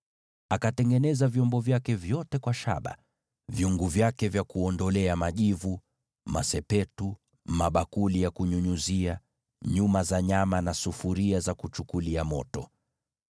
Akatengeneza vyombo vyake vyote kwa shaba: vyungu vyake vya kuondolea majivu, masepetu, mabakuli ya kunyunyizia, uma za nyama na vyombo vya kuchukulia moto.